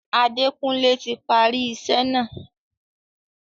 Adékunlé ti parí isẹ́ náà.